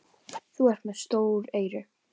Þú ert með stór eyru.